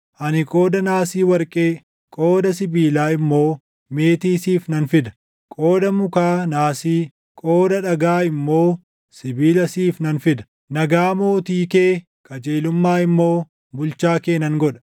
Ani qooda naasii warqee, qooda sibiilaa immoo, meetii siif nan fida. Qooda mukaa naasii, qooda dhagaa immoo, sibiila siif nan fida. Nagaa mootii kee, qajeelummaa immoo, bulchaa kee nan godha.